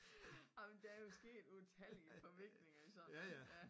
Ej men der jo sket utallige forviklinger i sådan noget ja